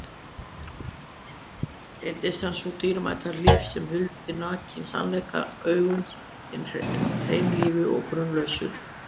Reyndist hann sú dýrmæta hlíf sem huldi nakinn sannleikann augum hinna hreinlífu og grunlausu.